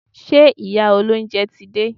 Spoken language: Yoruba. Ṣé ìyá olóúnjẹ ti dé?